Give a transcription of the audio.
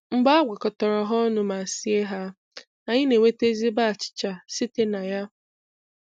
Mgbe a gwakọtara ha ọnụ ma sie ha, anyị n'enweta ezigbo achịcha site na ya.